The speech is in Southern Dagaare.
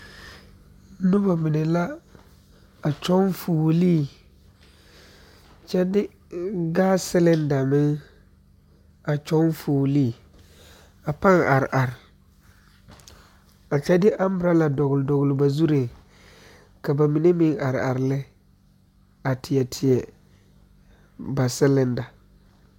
Noba mine la a kyɔŋ fuolii kyɛ gas selinda meŋ a kyɔŋ fuolii ka baŋ are are a kyɛ de amburɔla dɔgele dɔgele ba zuriŋ ka ba mine meŋ are are lɛ a tie tie ba selinda